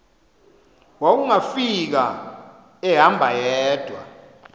wawungafika ehamba yedwa